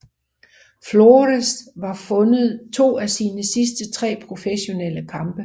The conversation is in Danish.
Flores har vundet to af sine sidste tre professionelle kampe